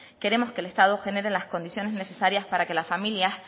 queremos que el estado genere las condiciones necesarias para que las familias